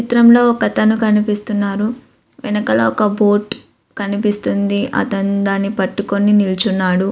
చిత్రంలో ఒక అతను కనిపిస్తున్నారు. వెనకలో ఒక బోట్ కనిపిస్తుంది. అతను దాని పట్టుకొని నిలుచున్నాడు.